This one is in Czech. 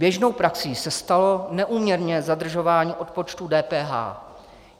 Běžnou praxí se stalo neúměrné zadržování odpočtu DPH.